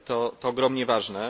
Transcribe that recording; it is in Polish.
To ogromnie ważne.